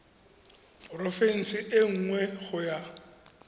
porofense e nngwe go ya